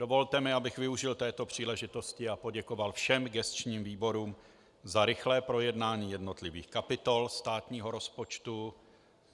Dovolte mi, abych využil této příležitosti a poděkoval všem gesčním výborům za rychlé projednání jednotlivých kapitol státního rozpočtu.